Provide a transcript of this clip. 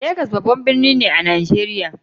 Lagos babban birni ne a Najeriya.